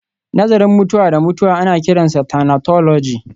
Nazarin mutuwa da mutuwa ana kiransa thanatology